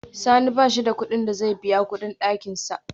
Sani bashi da kudin da zai biya kudin dakinsa